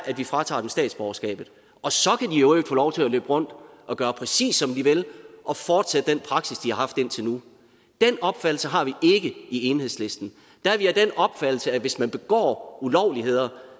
vi fratager dem statsborgerskabet og så kan de i øvrigt få lov til at løbe rundt og gøre præcis som de vil og fortsætte den praksis de har haft indtil nu den opfattelse har vi ikke i enhedslisten der er vi af den opfattelse at hvis man begår ulovligheder